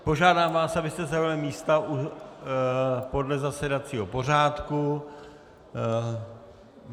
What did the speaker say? Požádám vás, abyste zaujali místa podle zasedacího pořádku.